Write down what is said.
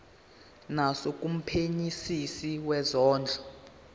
naso kumphenyisisi wezondlo